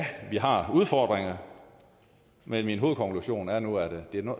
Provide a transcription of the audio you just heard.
vi har udfordringer men min hovedkonklusion er nu at det ikke